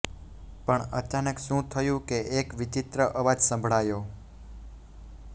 પણ અચાનક શું થયું કે એક વિચિત્ર અવાજ સંભળાયો